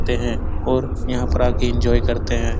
आते हैं और यहाँ पर आके एन्जॉय करते हैं।